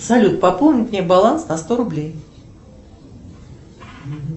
салют пополнить мне баланс на сто рублей